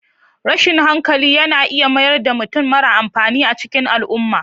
Rashin hankali yana mayar da mutum mara amfani a cikin al'umma.